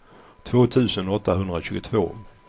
två tusen åttahundratjugotvå